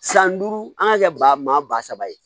San duuru an ka kɛ ba maa ba saba ye